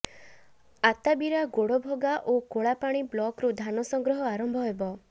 ଅତାବିରା ଗୋଡ଼ଭଗା ଓ କୋଳାପାଣି ବ୍ଲକ୍ରୁ ଧାନ ସଂଗ୍ରହ ଆରମ୍ଭ ହେବ